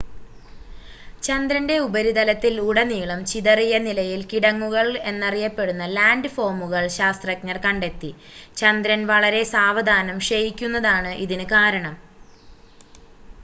ചന്ദ്രൻ്റെ ഉപരിതലത്തിൽ ഉടനീളം ചിതറിയ നിലയിൽ കിടങ്ങുകൾ എന്നറിയപ്പെടുന്ന ലാൻഡ് ഫോമുകൾ ശാസ്ത്രജ്ഞർ കണ്ടെത്തി ചന്ദ്രൻ വളരെ സാവധാനം ക്ഷയിക്കുന്നതാണ് ഇതിന് കാരണം